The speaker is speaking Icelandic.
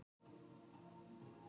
Efnajafnan er nú stillt.